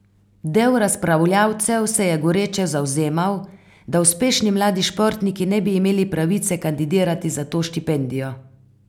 Del razpravljavcev se je goreče zavzemal, da uspešni mladi športniki ne bi imeli pravice kandidirati za to štipendijo.